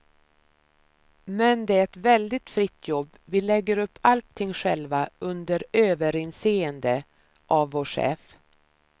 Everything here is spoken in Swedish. Men det är ett väldigt fritt jobb, vi lägger upp allting själva, under överinseende av vår chef.